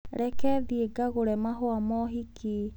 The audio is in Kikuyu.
Reke thiĩ ngagũre mahũa ma ũhiki.